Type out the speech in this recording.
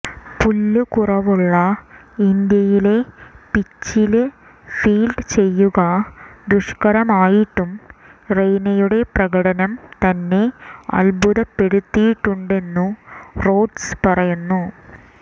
പുല്ല് കുറവുള്ള ഇന്ത്യയിലെ പിച്ചില് ഫീല്ഡ് ചെയ്യുക ദുഷ്കരമായിട്ടും റെയ്നയുടെ പ്രകടനം തന്നെ അദ്ഭുതപ്പെടുത്തിയിട്ടുണ്ടെന്നു റോഡ്സ് പറയുന്നു